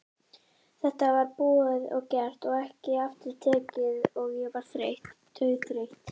Þetta var búið og gert og ekki aftur tekið og ég var þreytt, dauðþreytt.